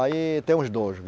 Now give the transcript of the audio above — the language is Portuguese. Aí tem os dois.